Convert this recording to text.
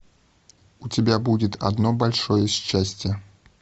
у тебя будет одно большое счастье